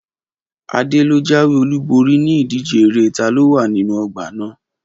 Adé lo jáwé olúborí ni ìdíje eré taló wà nínú ọgbà náà